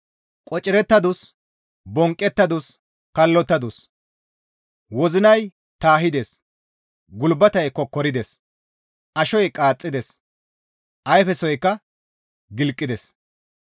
Qocirettadus; bonqqettadus; kallottadus; wozinay taahides; gulbatey kokkorides; ashoy qaaxxides; ayfesoykka gilqides.